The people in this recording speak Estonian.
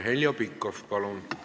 Heljo Pikhof, palun!